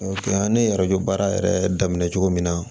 an ye yɛrɛ baara yɛrɛ daminɛ cogo min na